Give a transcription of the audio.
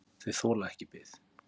Þau þola ekki bið.